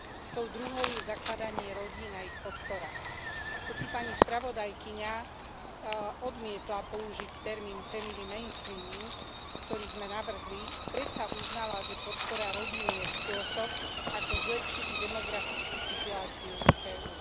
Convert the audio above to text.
Tou druhou je zakladanie rodín a ich podpora. Hoci pani spravodajkyňa odmietla použiť termín family mainstreaming, ktorý sme navrhli, predsa uznala, že podpora rodín je spôsob ako zlepšiť demografickú situáciu v EÚ.